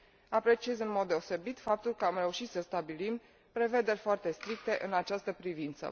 Apreciez în mod deosebit faptul că am reușit să stabilim prevederi foarte stricte în această privință.